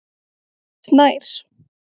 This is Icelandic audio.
Snær